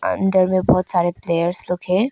अंदर में बहोत सारे प्लेयर्स लोग हैं।